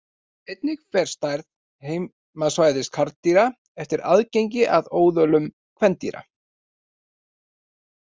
Einnig fer stærð heimasvæða karldýra eftir aðgengi að óðölum kvendýra.